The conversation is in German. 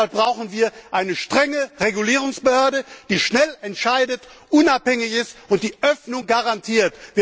Deshalb brauchen wir eine strenge Regulierungsbehörde, die schnell entscheidet, unabhängig ist und die Öffnung garantiert.